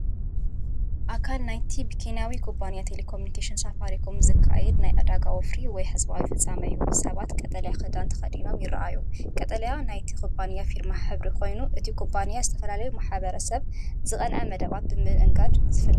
ኣካል ናይቲ ብኬንያዊ ኩባንያ ቴሌኮሙኒኬሽን ሳፋሪኮም ዝካየድ ናይ ዕዳጋ ወፍሪ ወይ ህዝባዊ ፍጻመ እዩ። ሰባት ቀጠልያ ክዳን ተኸዲኖም ይረኣዩ። ቀጠልያ ናይቲ ኩባንያ ፊርማ ሕብሪ ኮይኑ፡ እቲ ኩባንያ ዝተፈላለዩ ማሕበረሰብ ዝቐንዐ መደባት ብምእንጋድ ዝፍለጥ እዩ።